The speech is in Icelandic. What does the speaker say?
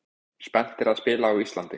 Spenntir að spila á Íslandi